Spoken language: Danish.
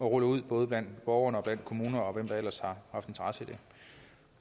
rulle ud ud blandt borgere og kommuner og hvem der ellers har interesse i